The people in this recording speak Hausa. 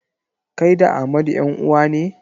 Kai da Amadu 'yan-uwa ne?